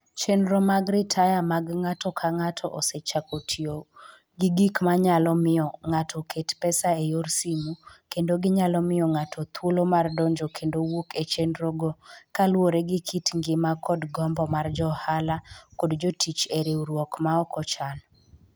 Chenro mag ritaya mag ng'ato ka ng'ato osechako tiyo gi gik manyalo miyo ng'ato oket pesa e yor simo, kendo ginyalo miyo ng'ato thuolo mar donjo kendo wuok e chenrogo kaluwore gi kit ngima kod gombo mar jo ohala kod jotich e riwruok ma ok ochan.